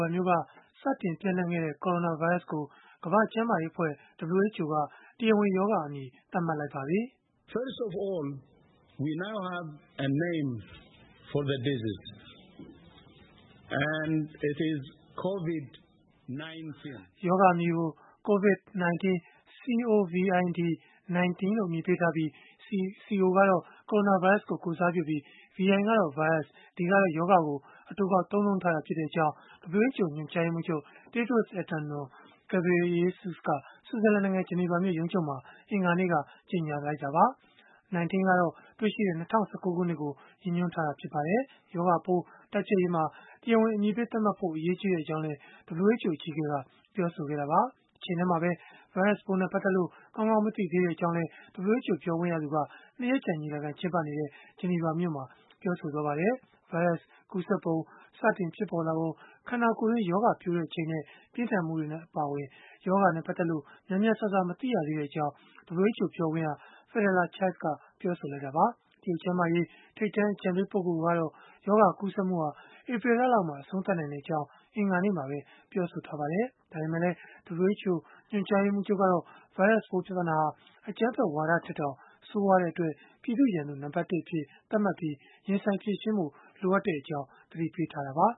န်မြို့က စတင်ပျံ့နှံ့ခဲ့တဲ့ ကိုရိုနာဗိုင်းရပ်စ်ကို ကမ္ဘာ့ကျန်းမာရေးအဖွဲ့ (WHO) က တရားဝင်ရောဂါအမည် သတ်မှတ်လိုက်ပါတယ်။ “ရောဂါအမည်ကို Covid-19 c o v i d - 1 9 လို့ အမည်ပေးထားပြီး Co က ကိုရိုနာဗိုင်းရပ်စ်ကို ကိုယ်စားပြုပြီး၊ vi ကတော့ ဗိုင်းရပ်စ် d ကတော့ ရောဂါကို အတိုကောက် သုံးနှုန်းထားတာဖြစ်ကြောင်း” WHO ညွှန်ကြားရေးမှူးချုပ် Tedros Adhanom Ghebreyesus က ဆွစ်ဇာလန်နိုင်ငံ ဂျနီဗာမြို့ ရုံးချုပ်မှာ အင်္ဂါနေ့က ကြေညာလိုက်တာပါ။1 9 ကတော့ တွေ့ရှိခဲ့တဲ့ ၂၀၁၉ ခုနှစ်ကို ရည်ညွှန်းထားတာ ဖြစ်ပါတယ်။ ရောဂါပိုး တိုက်ဖျက်ရေးမှာ တရားဝင် အမည်ပေးသတ်မှတ်ဖို့ အရေးကြီးကြောင်းလည်း WHO အကြီးအကဲက ပြောဆိုခဲ့တာပါ။ တချိန်တည်းမှာပဲ ဗိုင်းရပ်စ်ပိုး ပတ်သက်လို့ ကောင်းကောင်း မသိသေးဘူးလို့လည်း WHO ပြောခွင့်ရက ၂ ရက်ကြာ ညီလာခံကျင်းပနေတဲ့ ဂျနီဗာမှာ ပြောဆိုခဲ့ပါတယ်။ ဗိုင်းရပ်စ် ကူးစက်ပုံ၊ စတင်ဖြစ်ပေါ်လာပုံ၊ ခန္ဓာကိုယ်တွင်း ရောဂါပျိုးချိန်နဲ့ ပြင်းထန်မှုတွေ အပါအဝင် ရောဂါနဲ့ ပတ်သက်လို့ များများစားစား မသိသေးကြောင်း WHO ပြောခွင့်ရ Fadela Chaib က ပြောလိုက်တာပါ။ တရုတ်ကျန်းမာရေး ထိပ်တန်း အကြံပေးပုဂ္ဂိုလ်ကတော့ ရောဂါကူးစက်မှုဟာ ဧပြီလလောက်မှာ အဆုံးသတ်နိုင်ကြောင်း အင်္ဂါနေ့မှာပဲ ပြောဆိုထားပါတယ်။ ဒါပေမဲ့လည်း WHO ညွှန်ကြားရေးမှူးချုပ်ကတော့ ဗိုင်းရပ်စ်ပိုး ပြဿနာဟာ အကြမ်းဖက်ဝါဒထက်တောင် ဆိုးရွားတဲ့အတွက် ပြည်သူ့ရန်သူ နံပတ် (၁) အဖြစ် သတ်မှတ်ပြီး ရင်ဆိုင်ဖြေရှင်းဖို့ လိုအပ်နေကြောင်း သတိပေးခဲ့တာပါ